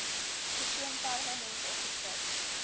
persoon permanent ongeskik